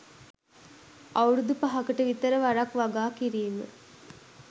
අවුරුදු පහකට විතර වරක් වගා කිරීම.